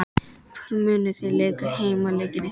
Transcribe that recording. Hvar munuð þið leika heimaleiki ykkar?